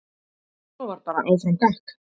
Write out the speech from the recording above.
Svo var bara áfram gakk.